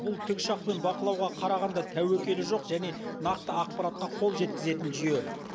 бұл тікұшақпен бақылауға қарағанда тәуекелі жоқ және нақты ақпаратқа қол жеткізетін жүйе